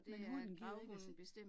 Men hunden gider ikke at se